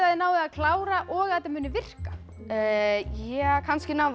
þið náið að klára og þetta muni virka kannski náum